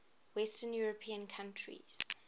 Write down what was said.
western european countries